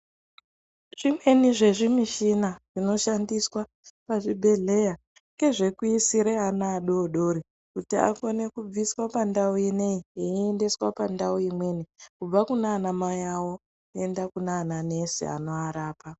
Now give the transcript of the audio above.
Zvimweni zvezvimichina zvinoshandiswa pazvibhedhlera ngezvekuisire ana adoodori kuti akone kubviswa pandau inei eiendeswa pandau imweni kubva kunaana mai awo kuenda kunana nesi anoarapa.